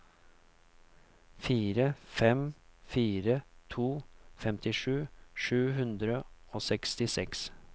fire fem fire to femtisju sju hundre og sekstiseks